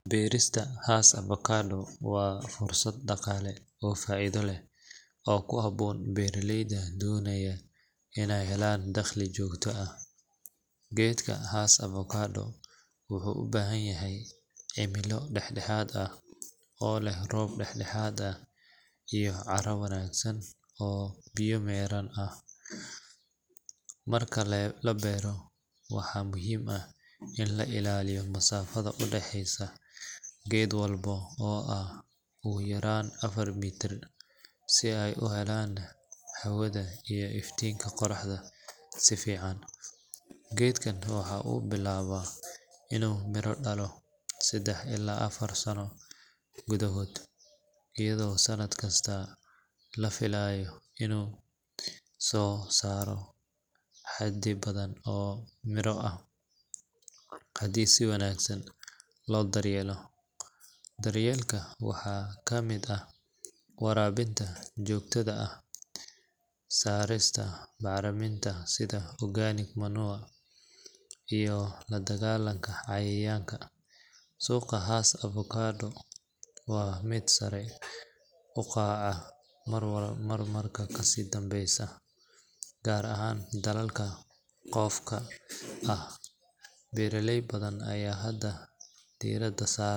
Beerista Hass avocado waa fursad dhaqaale oo faa’iido leh oo ku habboon beeraleyda doonaya inay helaan dakhli joogto ah. Geedka Hass avocado wuxuu u baahan yahay cimilo dhexdhexaad ah oo leh roob dhexdhexaad ah iyo carro wanaagsan oo biyo-mareen leh. Marka la beero, waxaa muhiim ah in la ilaaliyo masaafada u dhaxeysa geed walba oo ah ugu yaraan afar mitir si ay u helaan hawada iyo iftiinka qoraxda si fiican. Geedkan waxa uu bilaabaa inuu miro dhalo saddex ilaa afar sano gudahood, iyadoo sanad kasta la filayo inuu soo saaro xaddi badan oo miro ah haddii si wanaagsan loo daryeelo. Daryeelka waxaa ka mid ah waraabinta joogtada ah, saarista bacriminta sida organic manure iyo la dagaalanka cayayaanka. Suuqa Hass avocado waa mid sare u kaca marba marka ka dambeysa, gaar ahaan dalalka dhoofka ah. Beeraley badan ayaa hadda diiradda saara.